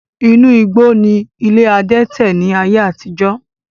Inú igbó ni ilé adẹ́tẹ̀ ni ayé àtijọ́